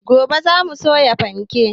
Gobe za mu soya fanke